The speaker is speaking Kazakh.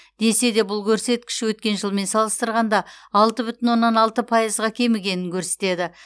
десе де бұл көрсеткіш өткен жылмен салыстырғанда алты бүтін оннан алты пайызға кемігенін көрсетеді